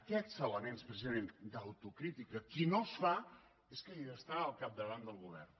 aquests elements precisament d’autocrítica qui no els fa és qui està al capdavant del govern